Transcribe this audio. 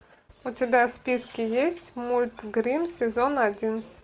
у тебя в списке есть мульт гримм сезон один